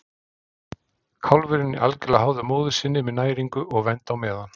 Kálfurinn er algjörlega háður móður sinni með næringu og vernd á meðan.